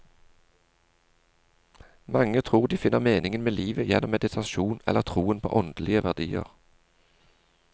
Mange tror de finner meningen med livet gjennom meditasjon eller troen på åndelige verdier.